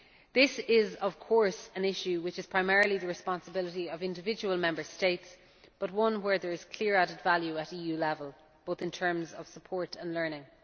This is of course an issue which is primarily the responsibility of individual Member States, but one where there is clear added value at EU level, both in terms of support and learning.